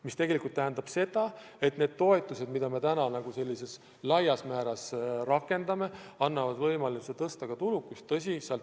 Mis tegelikult tähendab seda, et need toetused, mida me täna laias laastus rakendame, annavad võimaluse tulusust tõsta.